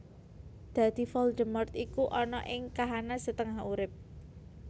Dadi Voldemort iku ana ing kahanan setengah urip